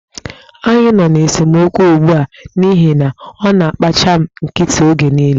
Anyị nọ n'esemokwu ugbu a n'ihi na ọ na-agbachị m nkịtị oge niile.